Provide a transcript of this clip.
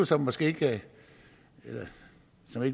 som måske ikke